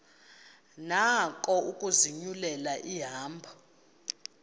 nako ukuzinyulela ihambo